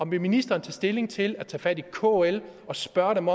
ministeren tage stilling til vil tage fat i kl og spørge dem